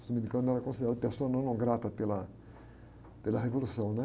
Os dominicanos eram considerados pessoas não gratas pela, pela revolução, né?